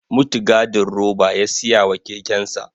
Mutgadin roba ya siya wa kekensa